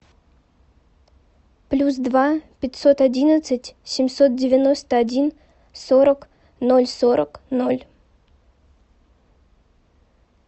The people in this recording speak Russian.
плюс два пятьсот одиннадцать семьсот девяносто один сорок ноль сорок ноль